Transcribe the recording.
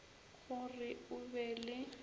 go re o be le